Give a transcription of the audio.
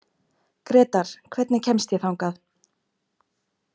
Grétar, hvernig kemst ég þangað?